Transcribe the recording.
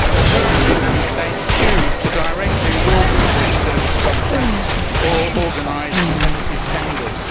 Currently, Member States choose to directly award public service contracts or organise competitive tenders.